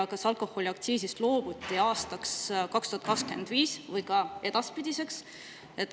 Ja kas alkoholiaktsiisist loobuti aastaks 2025 või ka edaspidiseks?